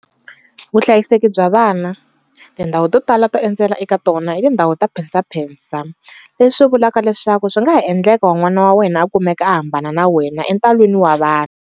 Vuhlayiseki bya vana, tindhawu to tala to endzela eka tona i tindhawu ta phensaphensa, leswi swi vulaka leswaku swi nga ha endleka n'wana wa wena a kumeka a hambana na wena entalwini wa vanhu.